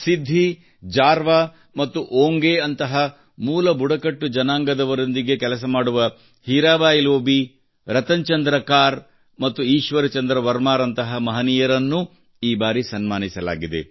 ಸಿದ್ಧಿ ಜಾರವಾ ಮತ್ತು ಓಂಗೆಯಂತಹ ಮೂಲ ಬುಡಕಟ್ಟು ಜನಾಂಗದವರೊಂದಿಗೆ ಕೆಲಸ ಮಾಡುವ ಹೀರಾಬಾಯಿ ಲೋಬಿ ರತನ್ ಚಂದ್ರ ಕಾರ್ ಮತ್ತು ಈಶ್ವರ್ ಚಂದ್ರ ವರ್ಮಾರಂತಹ ಮಹನೀಯರಿಗೂ ಈ ಬಾರಿ ಸನ್ಮಾನಿಸಲಾಗಿದೆ